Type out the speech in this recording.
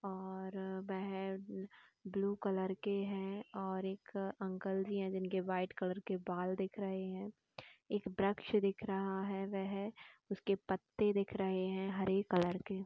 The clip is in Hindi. और वह ब्लू कलर के हैं और एक अंकल जी हैं जिनके व्हाइट कलर के बाल दिख रहै हैं एक वृक्ष दिख रहा है वह उसके पत्ते दिख रहै हैं हरे कलर के |